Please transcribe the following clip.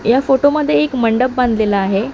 या फोटो मध्ये एक मंडप बांधलेला आहे.